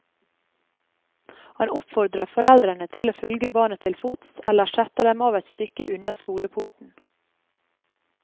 Han oppfordrer foreldrene til å følge barna til fots eller sette dem av et stykke unna skoleporten.